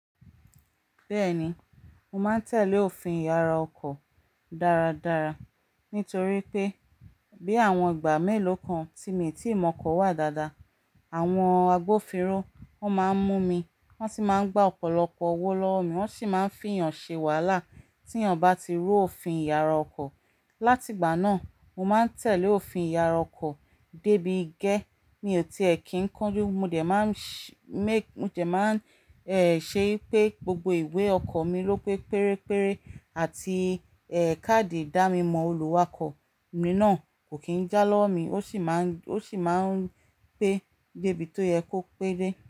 Bẹ́ẹ̀ni, mo máa ń tẹ̀lé òfin ìyara ọkọ̀ dáradára nítorí pé bí àwọn ìgbà mélòó kan tí mi tí ìmọ̀ ọkọ̀ wà dáadáa, àwọn agbófinró máa ń mú mi, wọ́n sì máa ń gbá ọ̀pọ̀lọpọ̀ owó lọ́wọ́ mi, wọ́n sì máa ń fi èèyàn ṣe wàhálà tí èèyàn bá ti ru òfin ìyara ọkọ̀. Láti ìgbà náà, mo máa ń tẹ̀lé òfin ìyara ọkọ̀ débi gẹ́. Mi ò tiẹ̀ kí ń kanju, mo jẹ̀ máa ń ṣe pé gbogbo ìwé ọkọ̀ mi ló pé pérépéré àti káàdì ìdámọ̀ oluwakọ̀ mi náà kò kí ń já lọ́wọ́ mi, ó sì máa ń pé dé bí tó yẹ kó pé dé.